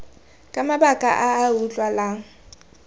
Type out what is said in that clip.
ka mabaka a a utlwalang